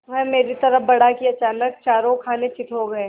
वह मेरी तरफ़ बढ़ा कि अचानक चारों खाने चित्त हो गया